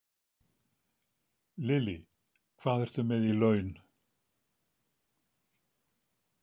Lillý: Hvað ertu með í laun?